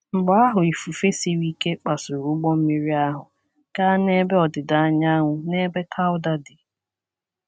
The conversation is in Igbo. Mgbe ahụ ifufe siri ike kpasuru ụgbọ mmiri ahụ gaa n’ebe ọdịda anyanwụ n’ebe Cauda dị.